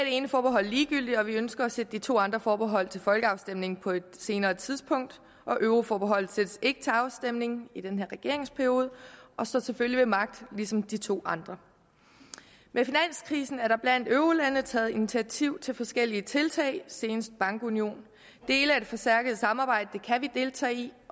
ene forbehold ligegyldigt og vi ønsker at sætte de to andre forbehold til folkeafstemning på et senere tidspunkt euroforbeholdet sættes ikke til afstemning i den her regeringsperiode og står selvfølgelig ved magt ligesom de to andre med finanskrisen er der blandt eurolandene taget initiativ til forskellige tiltag senest bankunionen dele af det forstærkede samarbejde kan vi deltage i